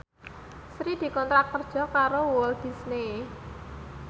Sri dikontrak kerja karo Walt Disney